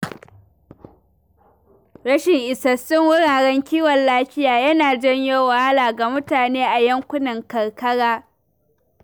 Rashin isassun wuraren kiwon lafiya yana janyo wahala ga mutane a yankunan karkara.